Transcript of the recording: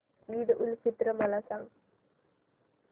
ईद उल फित्र मला सांग